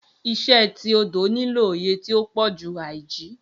Iṣe ti odo nilo oye ti o pọju aiji.